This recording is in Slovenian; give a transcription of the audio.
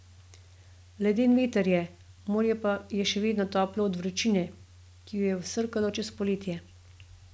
Leden veter je, morje pa je še vedno toplo od vročine, ki jo je vsrkalo čez poletje.